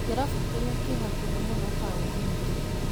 Kĩrabu kĩrĩa kĩ hakuhĩ mũno taũni nĩ kĩrĩkũ?